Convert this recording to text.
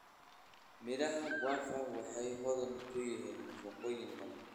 Miraha guava waxay hodan ku yihiin nafaqooyin badan.